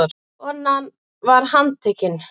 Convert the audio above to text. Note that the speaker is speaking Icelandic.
Konan var handtekin